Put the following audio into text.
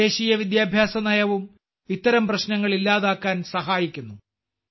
പുതിയ ദേശീയ വിദ്യാഭ്യാസ നയവും ഇത്തരം പ്രശ്നങ്ങൾ ഇല്ലാതാക്കാൻ സഹായിക്കുന്നു